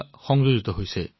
নমস্কাৰ ডাক্টৰ